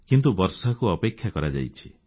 କିନ୍ତୁ ବର୍ଷାକୁ ଅପେକ୍ଷା କରାଯାଇଛି